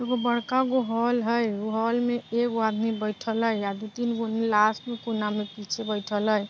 एगो बड़का गो हाल है ओ हॉल में एगो आदमी बइठल है या दो-तीन गो ही लास्ट कोने में पीछे बइठल है।